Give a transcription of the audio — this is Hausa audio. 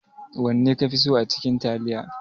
wanne kafi so acikin taliya?